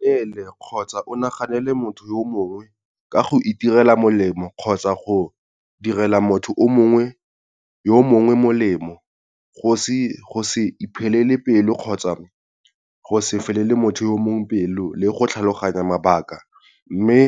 Inaganele kgotsa o naganele motho yo mongwe ka go itirela molemo kgotsa go direla motho yo mongwe molemo, go se iphelele pelo kgotsa go se felele motho yo mongwe pelo le go tlhaloganya mabaka mme